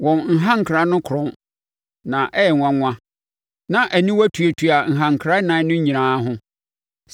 Wɔn nhankra no korɔn, na ɛyɛ nwanwa, na aniwa tuatua nhankra ɛnan no nyinaa ho.